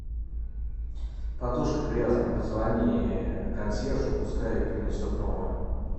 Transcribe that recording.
подушка грязная позвони консьержу пускай принесет новую